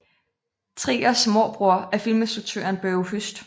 Triers morbror er filminstruktøren Børge Høst